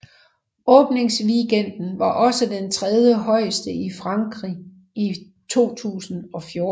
Åbingsweekenden var også den trediehøjeste i Frankrig i 2014